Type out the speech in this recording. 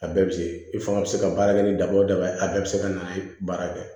A bɛɛ bɛ se i fanga bɛ se ka baara kɛ ni daba o daba ye a bɛɛ bɛ se ka na baara kɛ